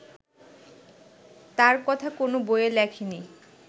তার কথা কোন বইয়ে লেখে নি